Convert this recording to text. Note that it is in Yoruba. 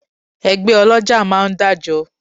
Ẹgbẹ́ ọlọ́jà máa ń dájọ